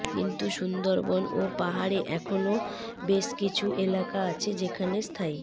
কিন্তু সুন্দরবন ও পাহাড়ে এখনও বেশ কিছু এলাকা আছে যেখানে স্থায়ী